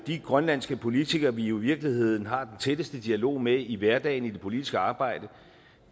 de grønlandske politikere som vi i virkeligheden har den tætteste dialog med i hverdagen i det politiske arbejde